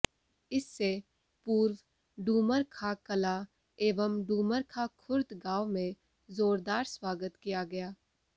इससे पूर्व डूमरखां कलां एवं डूमरखां खुर्द गांव में जोरदार स्वागत किया गया